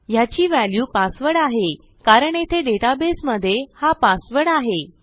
ह्याची व्हॅल्यू passwordआहे कारण येथे डेटाबेसमधे हा पासवर्ड आहे